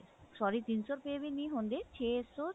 sorry ਤਿੰਨ ਸੋ ਰੁਪੇ ਵੀ ਨੀ ਹੁੰਦੇ ਛੇ ਸੋ